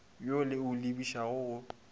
wo le o lebišago go